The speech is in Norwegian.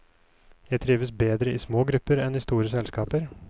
Jeg trives bedre i små grupper enn i store selskaper.